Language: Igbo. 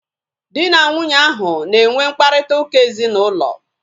Dị na nwunye ahu na enwe mkparịta ụka ezinaụlọ